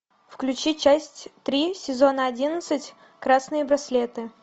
включи часть три сезона одиннадцать красные браслеты